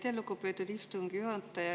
Aitäh, lugupeetud istungi juhataja!